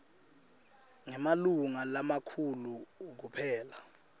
ngemalunga lamakhulu kuphela